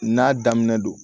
N'a daminɛ don